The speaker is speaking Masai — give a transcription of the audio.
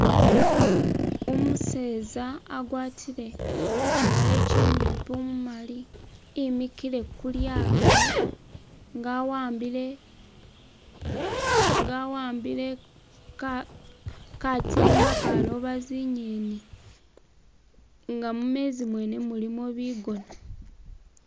Umuseza agwatile kiwale kinyimpi umumali imikile ku lyato nga awambile.. nga awambile ka.. katimba akaloba zinyeni nga mumenzi mwene mulimo bigona.